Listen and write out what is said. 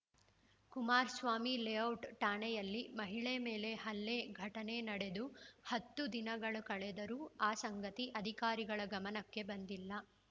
Kumaraswamy layout ಠಾಣೆಯಲ್ಲಿ ಮಹಿಳೆ ಮೇಲೆ ಹಲ್ಲೆ ಘಟನೆ ನಡೆದು ಹತ್ತು ದಿನಗಳು ಕಳೆದರೂ ಆ ಸಂಗತಿ ಅಧಿಕಾರಿಗಳ ಗಮನಕ್ಕೆ ಬಂದಿಲ್ಲ